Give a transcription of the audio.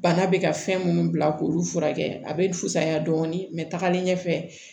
Bana bɛ ka fɛn minnu bila k'olu furakɛ a bɛ fisaya dɔɔnin mɛ tagalen ɲɛfɛ